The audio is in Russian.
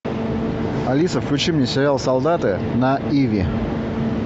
алиса включи мне сериал солдаты на иви